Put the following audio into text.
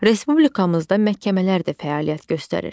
Respublikamızda məhkəmələr də fəaliyyət göstərir.